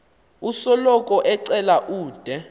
osoloko ecela ude